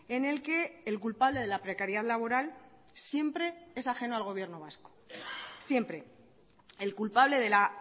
en el que el culpable de la precariedad laboral siempre es ajeno al gobierno vasco siempre el culpable de la